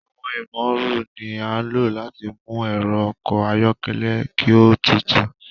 Awọn imooru ni a lo láti mú ẹrọ ọkọ ayọkẹlẹ ki o tútù